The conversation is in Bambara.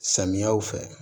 Samiyaw fɛ